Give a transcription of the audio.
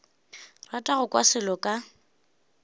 rata go kwa selo ka